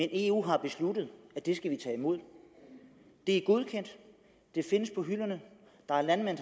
eu har besluttet at det skal vi tage imod det er godkendt det findes på hylderne der er landmænd